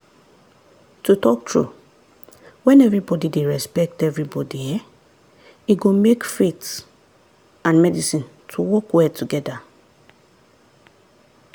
to talk true when everybody dey respect everybody[um]e go make faith and medicine to work well together.